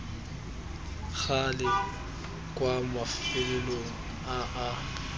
gale kwa mafelong a a